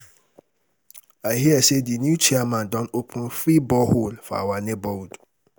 I hear say the new chairman don open free borehole for our neighborhood